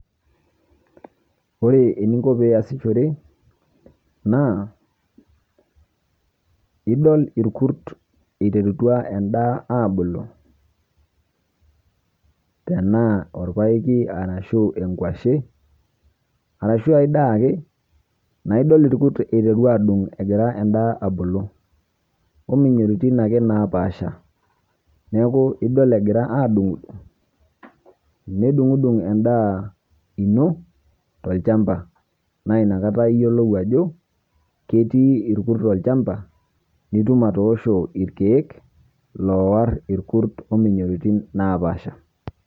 Ore eninko peeiyasishore naa idol irkurt eiterutua endaa aabulu ,tenaa enkuashe ashua aai daa ake naa idol irkurt eiteru aapuku eiterua endaa abulu omoyiaritin ake naapasha neeku idol egira aabulu nedung'udung endaa ino tolchamba naa inakata iyiolou ajo ketii irkurt olchamba nitum atoosho irkiek loowor omoyiaritin naapasha